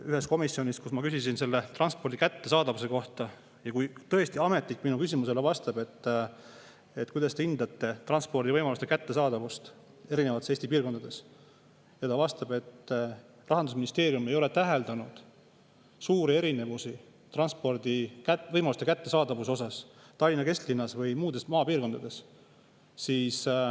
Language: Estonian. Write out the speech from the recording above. Ühes komisjonis, kus ma küsisin, kuidas te hindate transpordivõimaluste kättesaadavust erinevates Eesti piirkondades, vastas ametnik minu küsimusele, et Rahandusministeerium ei ole täheldanud suuri erinevusi transpordivõimaluste kättesaadavuse osas Tallinna kesklinnas ja muudes maapiirkondades.